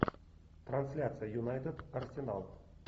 трансляция юнайтед арсенал